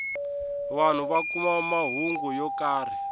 vanhu va kuma mahungu yo karhi